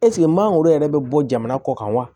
mangoro yɛrɛ bɛ bɔ jamana kɔ kan wa